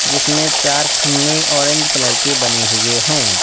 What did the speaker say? जिसमें चार खम्मे ऑरेंज कलर के बने हुए हैं।